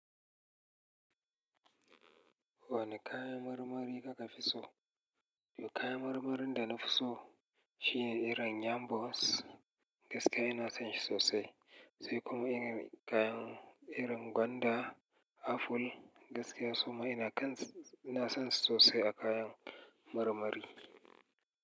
Wane kayan marmari kuka fi so? Kayan marmarin da nafi so shine irin yam balls, gaskiya ina son shi sosai. Sai kuma kayan irin gwanda, apple. Gaskiya suma ina kan, ina son su sosai a kayan marmari.